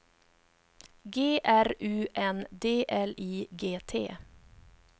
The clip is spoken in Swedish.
G R U N D L I G T